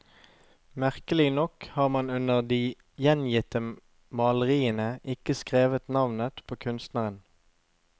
Merkelig nok har man under de gjengitte maleriene ikke skrevet navnet på kunstneren.